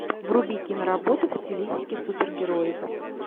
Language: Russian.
вруби киноработу в стилистике супергероев